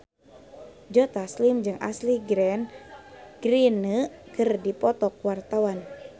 Joe Taslim jeung Ashley Greene keur dipoto ku wartawan